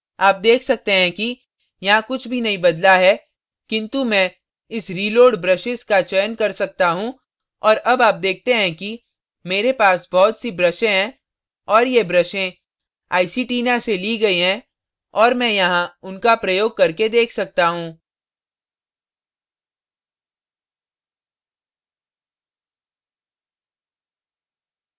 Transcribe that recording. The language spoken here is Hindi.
आप देख सकते हैं कि यहाँ कुछ भी नहीं बदला है किन्तु मैं इस reload brushes का चयन कर सकता you और अब आप देखते हैं कि मेरे पास बहुत see ब्रशें हैं और ये ब्रशें iceytina से ली गई हैं और मैं यहाँ उनका प्रयोग करके देख सकता you